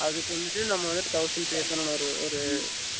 அதுக்கு வந்துட்டு நம்ம வந்துட்டு thousand pay பண்ணனும் ஒரு ஒரு